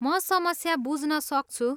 म समस्या बुझ्नसक्छु।